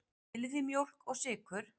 Viljið þið mjólk og sykur?